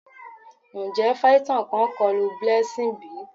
Njẹ phyton kan kọlu Blessing bi?